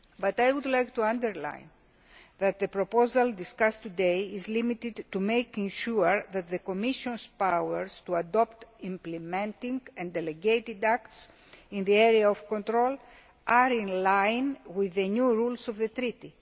I would like to underline that the proposal discussed today is limited to making sure that the Commission's powers to adopt implementing and delegated acts in the area of control are in line with the new rules of the Treaty.